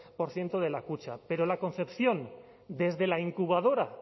por ciento de la kutxa pero la concepción desde la incubadora